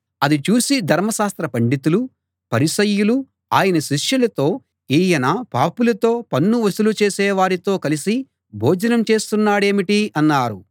అది చూసి ధర్మశాస్త్ర పండితులు పరిసయ్యులు ఆయన శిష్యులతో ఈయన పాపులతో పన్ను వసూలు చేసేవారితో కలిసి భోజనం చేస్తున్నాడేమిటి అన్నారు